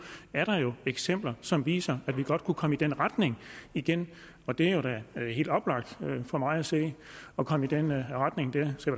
er der jo eksempler som viser at vi godt kunne komme i den retning igen det er da helt oplagt for mig at se at komme i den retning der så